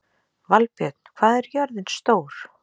Valbjörn, hvað er jörðin stór?